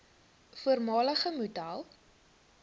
voormalige model